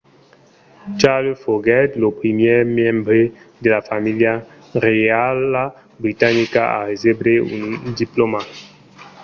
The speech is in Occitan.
charles foguèt lo primièr membre de la familha reiala britanica a recebre un diplòma